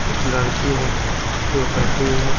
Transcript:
एक लड़की जो बैठी हुई है।